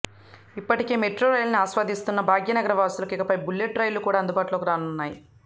ఇప్పటికే మెట్రో రైళ్లను ఆస్వాదిస్తున్న భాగ్యనగర వాసులకు ఇకపై బుల్లెట్ రైళ్లు కూడా అందుబాటులోకి రానున్నాయి